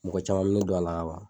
Mɔgɔ caman mɛ don a la ka ban.